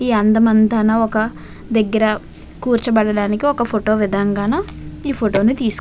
ఈ అందమంతాన ఒక దగ్గర కూర్చబడటానికి ఒక ఫోటో విదనంగాను ఈ ఫోటో ను తీసు --